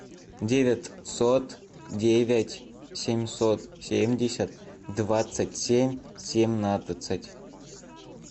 девятьсот девять семьсот семьдесят двадцать семь семнадцать